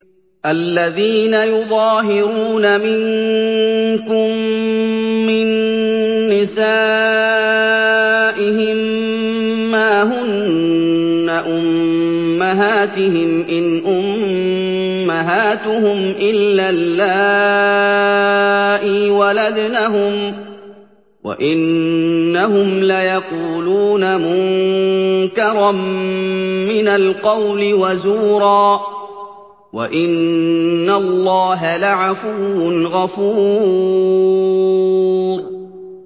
الَّذِينَ يُظَاهِرُونَ مِنكُم مِّن نِّسَائِهِم مَّا هُنَّ أُمَّهَاتِهِمْ ۖ إِنْ أُمَّهَاتُهُمْ إِلَّا اللَّائِي وَلَدْنَهُمْ ۚ وَإِنَّهُمْ لَيَقُولُونَ مُنكَرًا مِّنَ الْقَوْلِ وَزُورًا ۚ وَإِنَّ اللَّهَ لَعَفُوٌّ غَفُورٌ